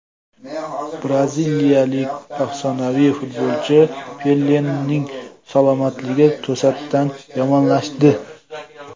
Braziliyalik afsonaviy futbolchi Pelening salomatligi to‘satdan yomonlashdi.